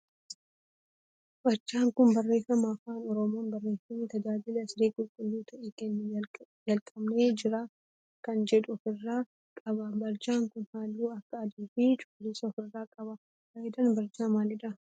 Barjaan kun barreeffama afaan oromoon barreeffame tajaajila siree qulqulluu ta'e kennuu jalqabnee jirra kan jedhu of irraa qaba. Barjaan kun halluu akka adii fi cuquliisa of irraa qaba. Faayidaan barjaa maalidha?